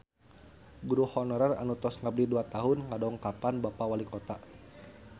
Guru honorer anu tos ngabdi dua tahun ngadongkapan Bapak Walikota